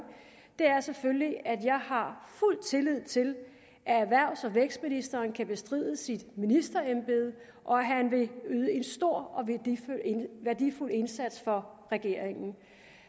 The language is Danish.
er selvfølgelig at jeg har fuld tillid til at erhvervs og vækstministeren kan bestride sit ministerembede og at han vil yde en stor og værdifuld indsats for regeringen